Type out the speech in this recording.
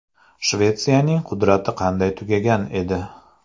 Shvetsiyaning qudrati qanday tugagan edi?